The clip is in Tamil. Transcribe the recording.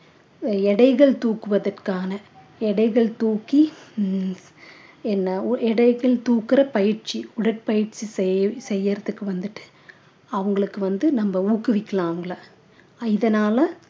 எடைகள் தூக்குவதற்கான எடைகள் தூக்கி ஹம் என்ன ஒ~ எடைகள் தூக்கிற பயிற்சி உடற்பயிற்சி செய்~ செய்யறதுக்கு வந்துட்டு அவங்களுக்கு வந்து நம்ம ஊக்குவிக்கலாம் அவங்கள இதனால